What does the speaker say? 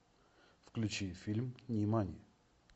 включи фильм нимани